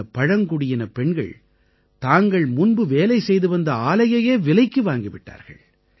இந்த பழங்குடியினப் பெண்கள் தாங்கள் முன்பு வேலை செய்துவந்த ஆலையையே விலைக்கு வாங்கி விட்டார்கள்